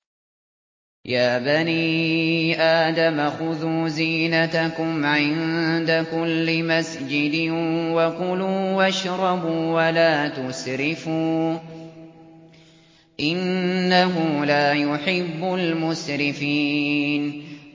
۞ يَا بَنِي آدَمَ خُذُوا زِينَتَكُمْ عِندَ كُلِّ مَسْجِدٍ وَكُلُوا وَاشْرَبُوا وَلَا تُسْرِفُوا ۚ إِنَّهُ لَا يُحِبُّ الْمُسْرِفِينَ